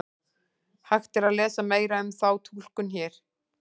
Hægt er að lesa meira um þá túlkun hér.